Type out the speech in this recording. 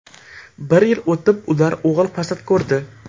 Bir yil o‘tib ular o‘g‘il farzand ko‘rdi.